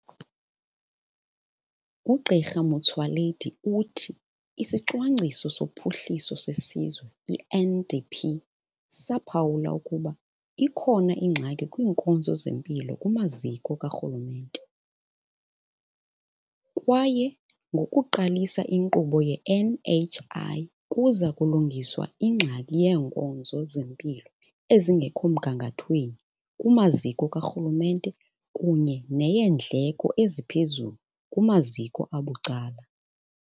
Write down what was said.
UGq Motsoaledi uthi iSicwangciso soPhuhliso seSizwe, i-NDP, saphawula ukuba ikhona ingxaki kwiinkonzo zempilo kumaziko karhulumente, kwaye ngokuqalisa inkqubo ye-NHI kuza kulungiswa ingxaki yeenkonzo zempilo ezingekho mgangathweni kumaziko karhulumente kunye neyeendleko eziphezulu kumaziko abucala.